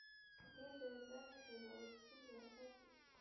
í tengslum við berghleifa úr súru bergi.